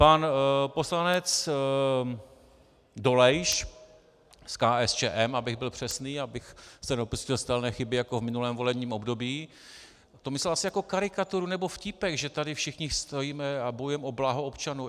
Pan poslanec Dolejš z KSČM, abych byl přesný, abych se nedopustil stejné chyby jako v minulém volebním období, to myslel asi jako karikaturu nebo vtípek, že tady všichni stojíme a bojujeme o blaho občanů.